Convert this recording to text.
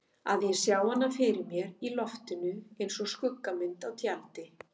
Að ég sjái hana fyrir mér í loftinu einsog skuggamynd á tjaldi.